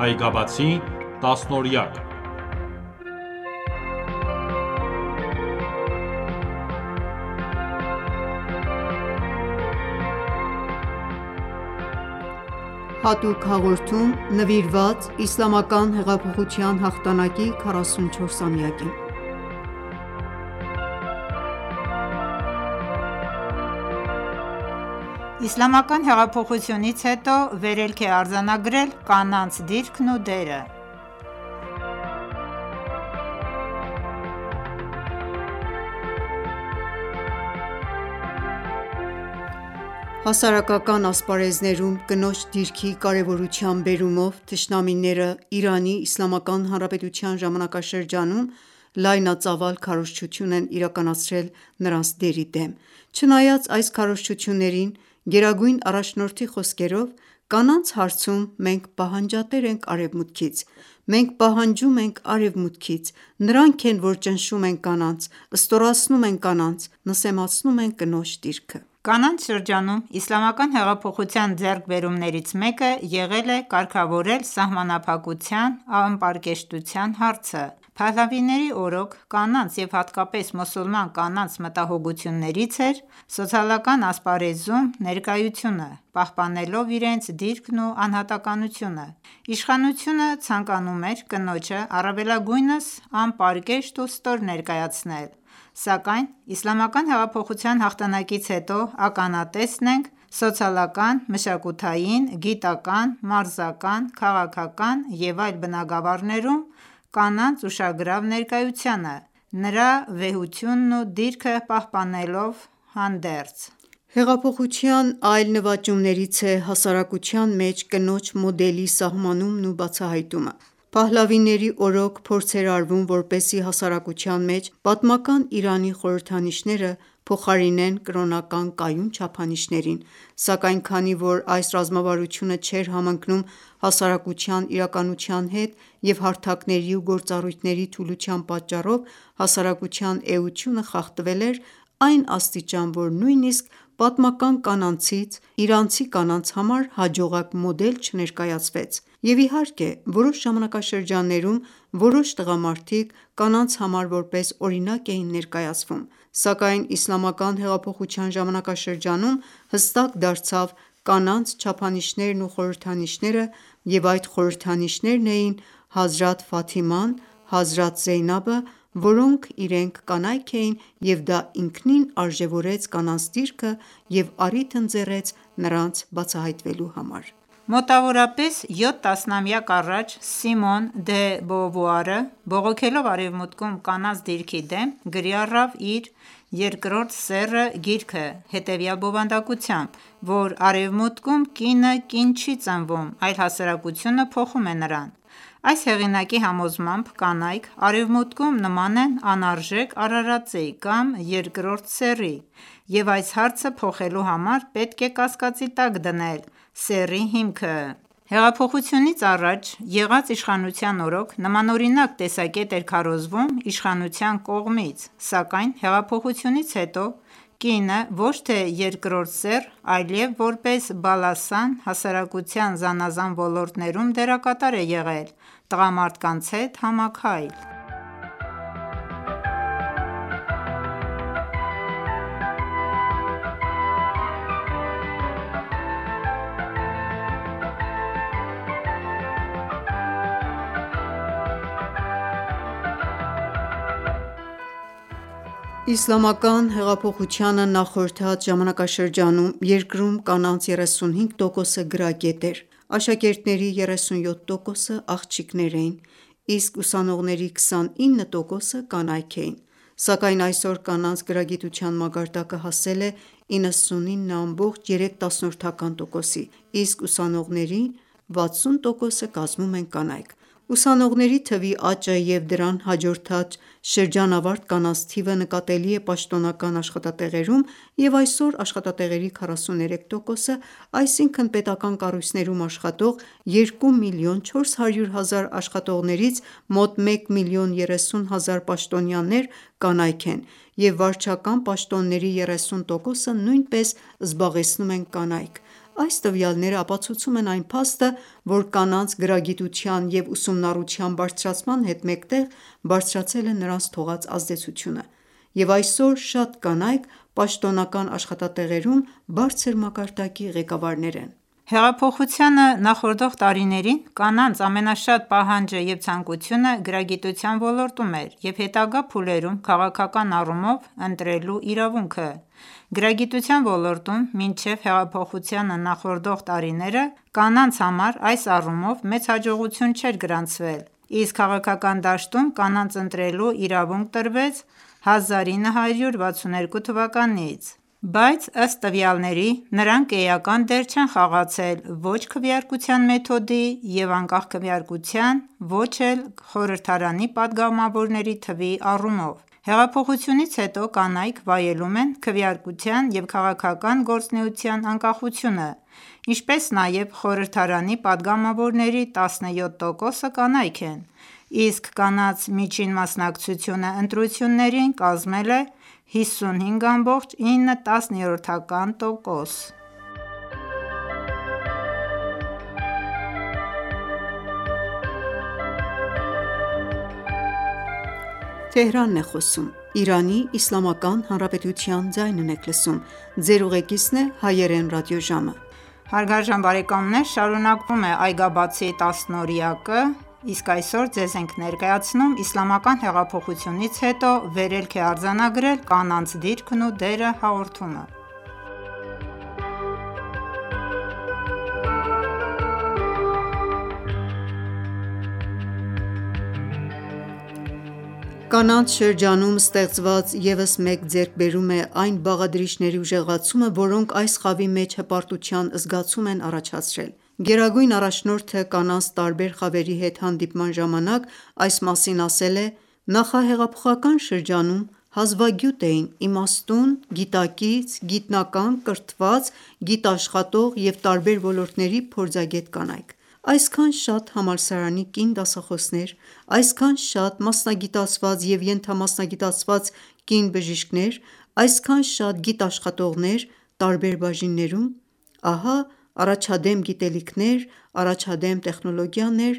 Այգաբացի տասնօրյակ(9.Հատուկ հաղորդում նվիրված Իսլամական հեղափոխության հաղթանակի 44-ամյակին) Իսլամական հեղափոխությունից հետո վերելք է արձանագրել կանանց դիրքն ու դերը: Հասարակական ասպարեզներում կնոջ դիրքի կարևորության բերումով թշնամիները, Իրանի Իսլամական Հանրապետության ժամանակաշրջանում լայնածավալ քարոզչություն են իրականացրել նրանց դերի դեմ: Չնայած այս քարոզչություններին, գերագույն առաջնորդի խոսքերով՝ «Կանանց հարցում մենք պահանջատեր ենք Արևմուտքից: Մենք պահանջում ենք Արևմուտքից: Նրանք են, որ ճնշում են կանանց, ստորացնում են կանանց, նսեմացնում են կնոջ դիրքը»։ Կանանց շրջանում իսլամական հեղափոխության ձեռքբերումներից մեկը եղել է՝ կարգավորել սահմանափակության-անպարկեշտության հարցը:Փահլավիների օրոք ,կանանց և հատկապես մուսուլման կանանց մտահոգություններից էր՝ սոցիալական ասպարեզներում ներկայությունը՝,պահպանելով իրենց դիրքն ու անհատականությունը:Իշխանությունը ցանկանում էր կնոջը առավելագույնս անպարկեշտ ու ստոր ներկայացնել, սակայն Իսլամական հեղափոխության հաղթանակից հետո ականատեսն ենք սոցիալական, մշակութային, գիտական ,մարզական ,քաղաքական և այլ բնագվառներում կանանց ուշագրավ ներկայությանը ՝նրա վեհությունն ու դիրքը պահպանվելով հանդերձ: Հեղափոխության այլ նվաճումներից է՝ հասարակության մեջ կնոջ կնոջ մոդելի սահմանումն ու բացահայտումն է: Փահլավիների օրոք ,փորձ էր արվում որպեսզի հասարակության մեջ պատմական Իրանի խորհրդանիշները ,փոխարինեն կրոնական կայուն չափանիշներին, սակայն քանի որ այս ռազմավարությունը չէր համընկնում հասարակության իրականությունների հետ և հարթակների ու գործառույթների թուլության պատճառով, հասարակության էությունը խախտվել էր, այն աստիճան, որ նույնիսկ պատմական կանանցից իրանցի կանանց համար հաջողակ մոդել չներկայացվեց, և իհարկե որոշ ժամանակաշրջաններում ,որոշ տղամարդիկ կանանց համար որպես օրինակ էին ներկայացվում, սակայն Իսլամական հեղափոխության ժամանակաշրջանում ,հստակ դարձավ կանանց չափանիշներն ու խորհրդանիշները ,և այդ խորհրդանիշներն էին՝ հազրաթ Ֆաթիման, հազրաթ Զեյնաբը, որոնք իրենք կանայք էին և դա ինքնին արժևորեց կանանց դիրքը և առիթ ընձեռեց նրանց բացահայտվելու համար: Մոտավորապես յոթ տասնամյակ առաջ, «Սիմոն դը Բովուարը» բողոքելով արեւմուտքում կանանց դիրքի դեմ, գրի առավ իր «Երկրորդ սեռը»գիրքը հետևյալ բովանդակությամբ, որ «Արեւմուտքում կինը կին չի ծնվում, այլ հասարակությունը փոխում է նրան»։ Այս հեղինակի համոզմամբ՝ կանայք Արեւմուտքում նման են անարժեք արարածի կամ երկրորդ սեռի, եւ այս հարցը փոխելու համար պետք է կասկածի տակ դնել սեռի հիմքը։ Հեղափոխությունից առաջ եղած իշխանության օրօք նմանօրինակ տեսակետ էր քարոզվում իշխանության կողմից ,սակայն հեղափոխությունից հետո ,կինը ոչ թե երկրորդ սեռ, այլև որպես բալասան ,հասարակության զանազան ոլորտներում դերակատար է եղել տղամարդկանց հետ համաքայլ: Իսլամական հեղափոխությանը նախորդած ժամանակաշրջանում, երկրում կանանց 35%-ը գրագետ էր, աշակերտների 37%-ը աղջիկներ էին, իսկ ուսանողների 29%-ը կանայք էին, սակայն այսօր կանանց գրագիտության մակարդակը հասել է 99.3%-ի, իսկ ուսանողների 60%-ը կազմում են կանայք։ Ուսանողների թվի աճը և դրան հաջորդած շրջանավարտ կանանց թիվը նկատելի է պաշտոնական աշխատատեղերում, և այսօր աշխատատեղերի 43%-ը, այսինքն՝ պետական կառույցներում աշխատող երկու միլիոն չորս հարյուր հազար աշխատողներից, մոտ 1 միլիոն երեսուն հազար պաշտոնյաներ կանայք են, և վարչական պաշտոնների 30%-ը նույնպես զբաղեցնում են կանայք։ Այս տվյալները ապացուցում են այն փաստը, որ կանանց գրագիտության և ուսումնառության բարձրացման հետ մեկտեղ բարձրացել է նրանց թողած ազդեցությունը ,և այսօր շատ կանայք պաշտոնական աշխատատեղերում, բարձր մակարդակի ղեկավարներ են: Հեղափոխությանը նախորդող տարիներին կանանց ամենաշատ պահանջը և ցանկությունը ՝գրագիտության ոլորտում էր և հետագա փուլերում քաղաքական առումով ՝ ընտրելու իրավունքը: Գրագիտության ոլորտում, մինչև հեղափոխությանը նախորդող տարիները, կանանց համար այս առումով մեծ հաջողություններ չեն գրանցվել, իսկ քաղաքական դաշտում կանանց ընտրելու իրավունք տրվեց 1341(1962)թվականից, բայց ըստ տվյալների՝ նրանք էական դեր չեն խաղացել ո՛չ քվեարկության մեթոդի ու անկախ քվեարկության, ո՛չ էլ խորհրդարանի պատգամավորների թվի առումով։ Հեղափոխությունից հետո կանայք վայելում են քվեարկության և քաղաքական գործունեության անկախությունը, ինչպես նաև խորհրդարանի պատգամավորների 17%-ը կանայք են, իսկ կանանց միջին մասնակցությունը ընտրություններին կազմել է 55.9%: Կանանց շրջանում ստեղծված ևս մեկ ձեռքբերում է այն բաղադրիչների ուժեղացումը, որոնք այս խավի մեջ հպարտության զգացում են առաջացրել: Գերագույն առաջնորդը կանանց տարբեր խավերի հետ հանդիպման ժամանակ (14․10․1401) այս մասին ասել է.« Նախահեղափոխական շրջանում հազվագյուտ էին ՝իմաստուն, գիտակից, գիտնական, կրթված, գիտաշխատող և տարբեր ոլորտների փորձագետ կանայք: Այսքան շատ համալսարանի կին դասախոսներ, այսքան շատ մասնագիտացված և ենթամասնագիտացված կին բժիշկներ, այսքան շատ գիտաշխատողներ տարբեր բաժիններում... Ահա առաջադեմ գիտելիքներ, առաջադեմ տեխնոլոգիաներ,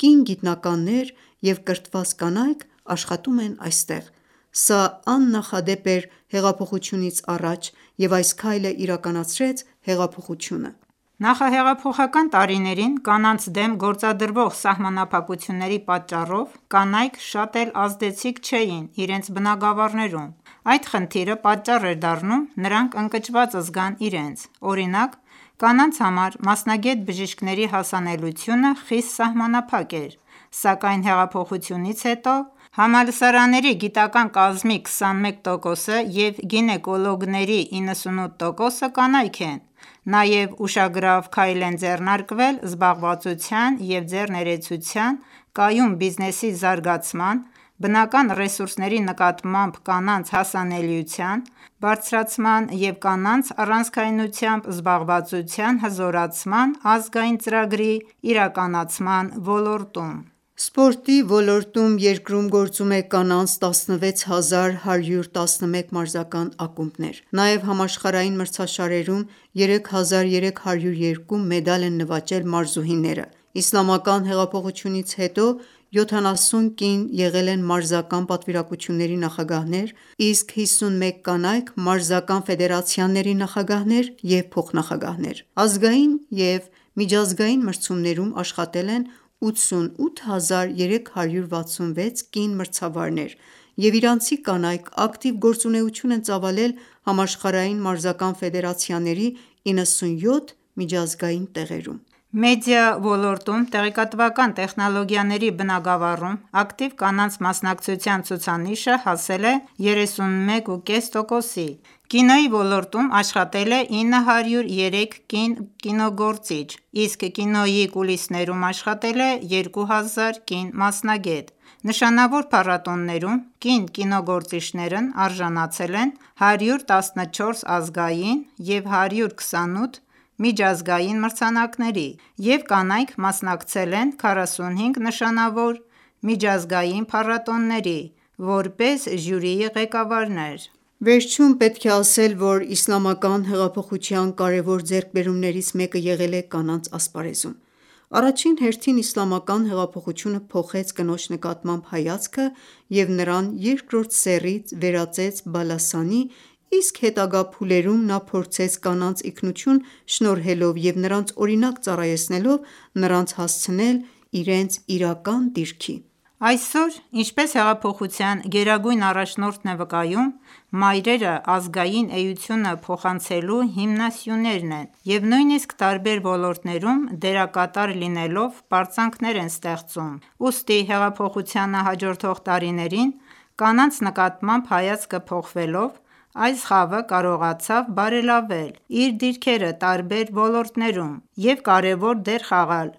կին գիտնականները և կրթված կանայք աշխատում են այստեղ:Սա աննախադեպ էր հեղափոխությունից առաջ,և այս քայլը իրականացրեց հեղափոխությունը»:Նախահեղափոխական տարիներին կանանց դեմ գործադրվող սահմանափակությունների պատճառով ,կանանյք շատ էլ ազդեցիկ չէին իրենց բնագավառներում: Այդ խնդիրը պատճառ էր դառնում նրանք ընկճված զգան իրենց: Օրինակ՝ կանանց համար մասնագետ բժիշկների հասանելիությունը խիստ սահմանափակ էր, սակայն հեղափոխությունից հետո համալսարանների գիտական կազմի 21%-ը և գինեկոլոգների 98%-ը կանայք են ։ Նաև ուշագրավ քայլեր են ձեռնարկվել զբաղվածության և ձեռներեցության, կայուն բիզնեսի զարգացման, բնական ռեսուրսների նկատմամբ կանանց հասանելիության բարձրացման և կանանց առանցքայնությամբ զբաղվածության հզորացման ազգային ծրագրի իրականացման ոլորտում: Սպորտի ոլորտում երկրում գործում է կանանց 16 հազար111 մարզական ակումբներ։ Նաև համաշխարհային մրցաշարերում 3302 մեդալ են նվաճել մարզուհիները։ Իսլամական հեղափոխությունից հետո 70 կին եղել են մարզական պատվիրակությունների նախագահներ նահանգների մակարդակում, իսկ 51 կանայք ՝ մարզական ֆեդերացիաների նախագահներ և փոխնախագահներ։ Ազգային և միջազգային մրցումներում աշխատել են 88 հազար 366 կին մրցավարներ, և իրանցի կանայք ակտիվ գործունեություն են ծավալել համաշխարհային մարզական ֆեդերացիաների 97 միջազգային տեղերում։ Մեդիա ոլորտում տեղեկատվական տեխնոլոգիաների բնագավառում ակտիվ կանանց մասնակցության ցուցանիշը հասել է 31.5 տոկոսի, կինոյի ոլորտում աշխատել է 903 կին կինոգործիչ, իսկ կինոյի կուլիսներում աշխատել է երկու հազար կին մասնագետ։ Նշանավոր փառատոներում կին կինոգործիչներն արժանացել են 114 ազգային և 128 միջազգային մրցանակների և կանայք մասնակցել են 45 նշանավոր միջազգային փառատոների՝ որպես ժյուրիի ղեկավարներ։ Վերջում պետք է ասել, որ Իսլամական հեղափոխության կարեւոր ձեռքբերումներից մեկը եղել է կանանց ասպարեզում: Առաջին հերթին իսլամական հեղափոխությունը փոխեց կնոջ նկատմամբ հայացքը և նրան երկրորդ սեռից վերածեց բալասանի ,իսկ հետագա փուլերում նա փորձեց կանանց ինքնություն շնորհելով և նրանց օրինակ ծառայեցնելով ,նրանց հասցնել իրենց իրական դիրքի: Այսօր ,ինչպես հեղափոխության գերագույն առաջնորդն է վկայում.«Մայրերը ազգային էությունը փոխանցելու հիմնասյուներն են» և նույնիսկ տարբեր ոլորտներում դերակատար լինելով պարծանքներ են ստեղծում: Ուստի հեղափոխությանը հաջորդող տարիներին, կանանց նկատմամբ հայացքը փոխվելով, այս խավը կարողացավ բարելավել իր դիրքերը տարբեր ոլորտներում և կարևոր դեր խաղալ